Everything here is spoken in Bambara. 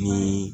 Ni